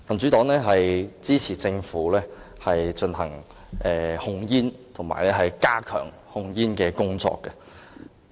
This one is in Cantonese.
民主黨支持政府進行控煙和加強控煙工作。